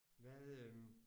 Hvad øh